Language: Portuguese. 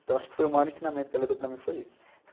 Então acho que foi o maior ensinamento que ela deu para mim foi esse.